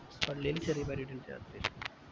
പള്ളില് ചെറിയ പരിപാടി ഇണ്ടായി രാത്രീല്